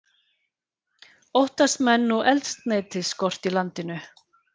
Óttast menn nú eldsneytisskort í landinu